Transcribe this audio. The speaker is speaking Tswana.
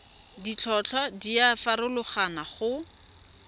ditlhotlhwa di a farologana go